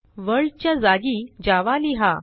world च्या जागी Java लिहा